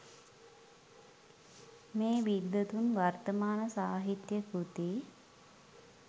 මේ විද්වතුන් වර්තමාන සාහිත්‍ය කෘති